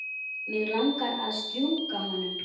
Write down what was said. Mig langar að strjúka honum.